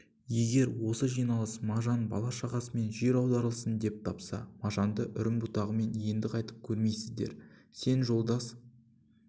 егер осы жиналыс мажан бала-шағасымен жер аударылсын деп тапса мажанды үрім-бұтағымен енді қайтып көрмейсіздер сен жолдас